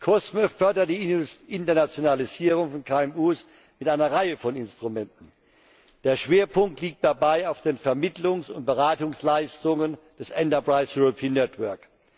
COSME fördert die Internationalisierung von KMU mit einer Reihe von Instrumenten. Der Schwerpunkt liegt dabei auf den Vermittlungs und Beratungsleistungen des Enterprise Europe Netzwerks.